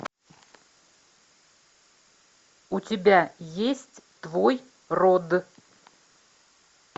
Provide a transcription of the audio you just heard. у тебя есть твой род